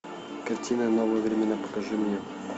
картина новые времена покажи мне